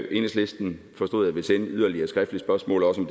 at enhedslisten ville sende yderligere skriftlige spørgsmål om